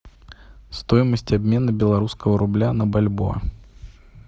стоимость обмена белорусского рубля на бальбоа